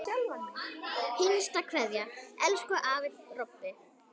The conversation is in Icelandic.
HINSTA KVEÐJA Elsku afi Robbi.